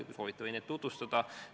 Kui soovite, võin neid tutvustada.